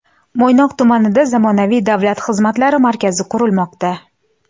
Mo‘ynoq tumanida zamonaviy Davlat xizmatlari markazi qurilmoqda .